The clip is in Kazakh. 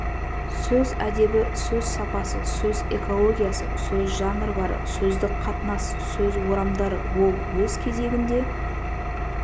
сөз әдебі сөз сапасы сөз экологиясы сөз жанрлары сөздік қатынас сөз орамдары ол өз кезегінде